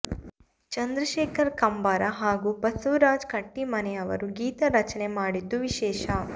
ಚಂದ್ರಶೇಖರ ಕಂಬಾರ ಹಾಗೂ ಬಸವರಾಜ ಕಟ್ಟೀಮನಿ ಅವರು ಗೀತ ರಚನೆ ಮಾಡಿದ್ದು ವಿಶೇಷ